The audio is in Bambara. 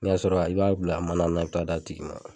N'i y'a sɔrɔ i b'a bila mana na i bɛ taa d'a tigi ma.